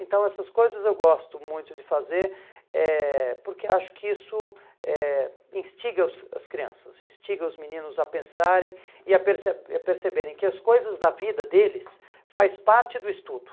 Então essas coisas eu gosto muito de fazer eh porque acho que isso eh instiga os as crianças, instiga os meninos a pensarem e a perce e a perceberem que as coisas da vida deles faz parte do estudo.